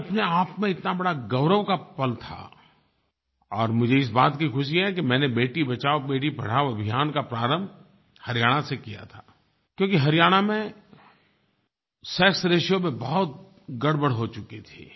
ये अपने आप में इतना बड़ा गौरव का पल था और मुझे इस बात की खुशी है कि मैंने अपने बेटी बचाओबेटी पढ़ाओ अभियान का प्रारंभ हरियाणा से किया था क्योंकि हरियाणा में सेक्सरेशियो में बहुत गड़बड़ हो चुकी थी